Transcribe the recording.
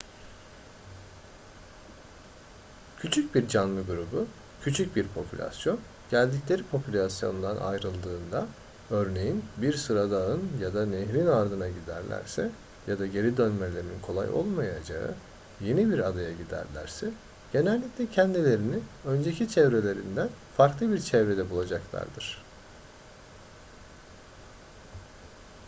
küçük bir canlı grubu küçük bir popülasyon geldikleri popülasyondan ayrıldığında örneğin bir sıradağın ya da nehrin ardına giderlerse ya da geri dönmelerinin kolay olmayacağı yeni bir adaya giderlerse genellikle kendilerini önceki çevrelerinden farklı bir çevrede bulacaklardır